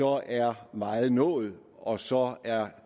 er meget nået og så er